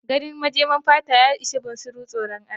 Ganin majemar fata ya ishe bunsuru tsoran Allah.